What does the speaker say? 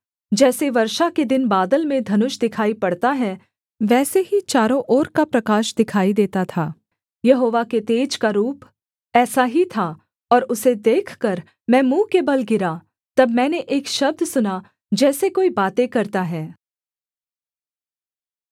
जैसे वर्षा के दिन बादल में धनुष दिखाई पड़ता है वैसे ही चारों ओर का प्रकाश दिखाई देता था यहोवा के तेज का रूप ऐसा ही था और उसे देखकर मैं मुँह के बल गिरा तब मैंने एक शब्द सुना जैसे कोई बातें करता है